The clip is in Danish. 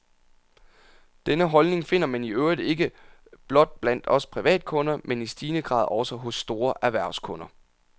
Denne holdning finder man i øvrigt ikke blot blandt os privatkunder, men i stigende grad også hos store erhvervskunder.